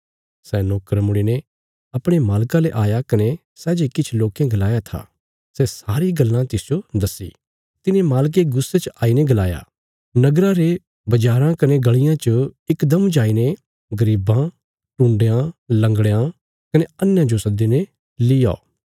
सै नोकर मुड़ीने अपणे मालका ले आया कने सै जे किछ लोकें गलाया था सै सारी गल्लां तिसजो दस्सी तिने मालके गुस्से च आई ने गलाया नगरा रे बज़ाराँ कने गल़ियां च इकदम जाईने गरीबां टुण्डयां लंगड़यां कने अन्हेयां जो सद्दीने लीऔ